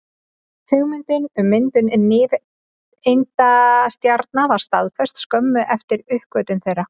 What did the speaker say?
Hugmyndin um myndun nifteindastjarna var staðfest skömmu eftir uppgötvun þeirra.